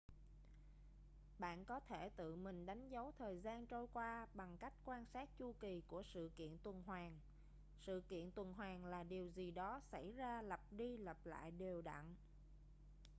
bạn có thể tự mình đánh dấu thời gian trôi qua bằng cách quan sát chu kỳ của sự kiện tuần hoàn sự kiện tuần hoàn là điều gì đó xảy ra lặp đi lặp lại đều đặn